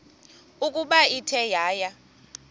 ukuba ithe yaya